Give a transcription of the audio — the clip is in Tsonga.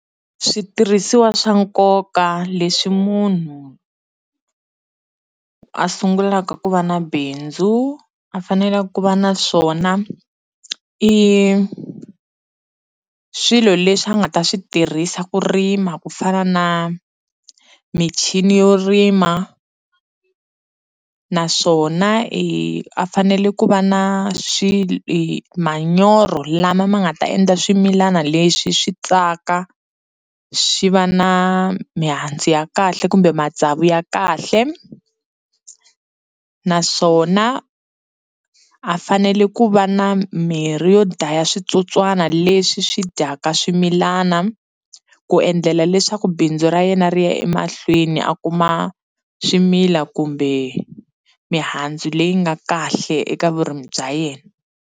Switirhisiwa swa nkoka leswi munhu a sungulaka ku va na bindzu a fanele ku va na swona i swilo leswi a nga ta swi tirhisa ku rima ku fana na michini yo rima naswona hi a fanele ku va na manyoro lama ma nga ta endla swimilana leswi swi tsaka swi va na mihandzu ya kahle kumbe matsavu ya kahle naswona a fanele ku va na mirhi yo dlhaya switsotswana leswi swi dyaka swimilana ku endlela leswaku bindzu ra yena ri ya emahlweni a kuma swimila kumbe mihandzu leyi nga kahle eka vurimi bya yena.